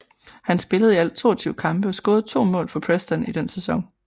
Han spillede i alt 22 kampe og scorede to mål for Preston i den sæson